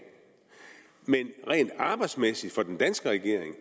men rent arbejdsmæssigt for den danske regering